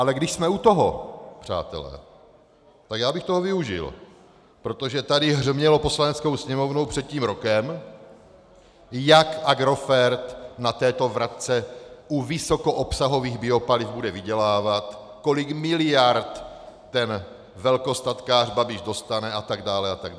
Ale když jsme u toho, přátelé, tak já bych toho využil, protože tady hřmělo Poslaneckou sněmovnou před tím rokem, jak Agrofert na této vratce u vysokoobsahových paliv bude vydělávat, kolik miliard ten velkostatkář Babiš dostane atd. atd.